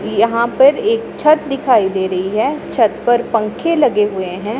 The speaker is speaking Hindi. यहां पर एक छत दिखाई दे रही है छत पर पंखे लगे हुए हैं।